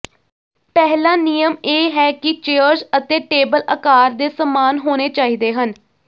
ਪਹਿਲਾ ਨਿਯਮ ਇਹ ਹੈ ਕਿ ਚੇਅਰਜ਼ ਅਤੇ ਟੇਬਲ ਆਕਾਰ ਦੇ ਸਮਾਨ ਹੋਣੇ ਚਾਹੀਦੇ ਹਨ